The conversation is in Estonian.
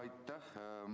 Aitäh!